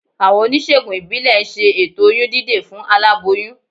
Àwọn oníṣègùn ìbílẹ̀ ń ṣe ètò oyún dídè fún aláboyún